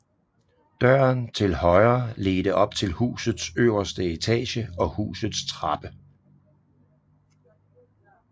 Døren til højre ledte op til husets øverste etage og husets trappe